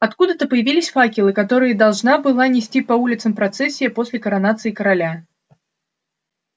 откуда-то появились факелы которые должна была нести по улицам процессия после коронации короля